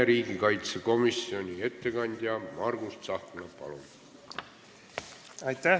Riigikaitsekomisjoni ettekandja Margus Tsahkna, palun!